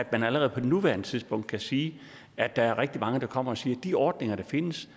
man allerede på nuværende tidspunkt kan sige at der er rigtig mange der kommer og siger de ordninger der findes